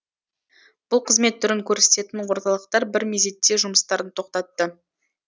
бұл қызмет түрін көрсететін орталықтар бір мезетте жұмыстарын тоқтатты